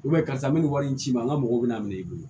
karisa me nin wari in ci i ma n ka mɔgɔw bɛna minɛ i bolo